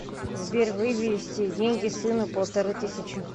сбер вывести деньги сыну полторы тысячи